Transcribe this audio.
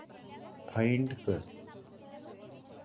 find कर